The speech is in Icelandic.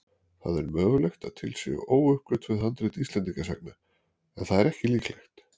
Það er mögulegt að til séu óuppgötvuð handrit Íslendingasagna en það er ekki líklegt.